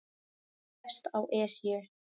Lést á Esju